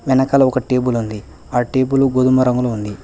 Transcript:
వెనకాల ఒక టేబుల్ ఉంది ఆ టేబుల్ గోధుమ రంగులో ఉంది.